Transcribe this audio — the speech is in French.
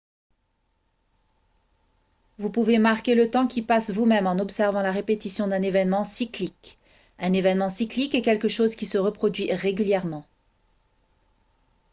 vous pouvez marquer le temps qui passe vous-même en observant la répétition d'un événement cyclique un événement cyclique est quelque chose qui se reproduit régulièrement